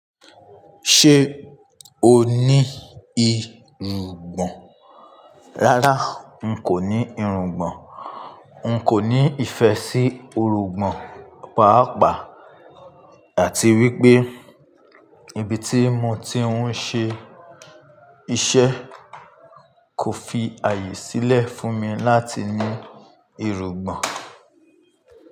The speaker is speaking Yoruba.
Ṣé o ní irùngbọ̀n? Rárá, n kò ní irùngbọ̀n. N kò ní ìfẹ́ sí irùngbọ̀n pàápàá àti wípé ibi tí mo ti ń ṣe iṣẹ́ kò fi àyè sílẹ̀ fún mi láti ní irùngbọ̀n.